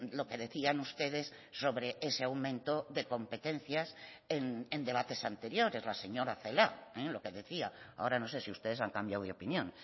lo que decían ustedes sobre ese aumento de competencias en debates anteriores la señora celaá lo que decía ahora no sé si ustedes han cambiado de opinión